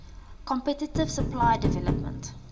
competitive supplier development